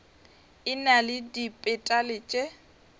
e na le dipetale tše